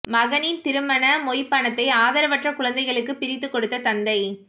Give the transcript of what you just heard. மகனின் திருமண மொய் பணத்தை ஆதரவற்ற குழந்தைகளுக்கு பிரித்து கொடுத்த தந்தை